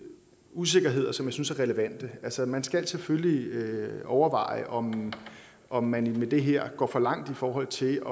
usikkerheder som jeg synes er relevante altså man skal selvfølgelig overveje om om man med det her går for langt i forhold til